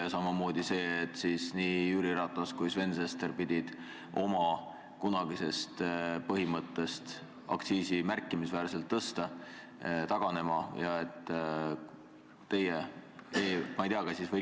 Ja seda ka, et nii Jüri Ratas kui Sven Sester pidid oma kunagisest põhimõttest, et aktsiisi tuleb märkimisväärselt tõsta, taganema.